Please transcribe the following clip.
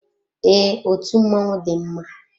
Ee, otú mmọnwụ dị mma.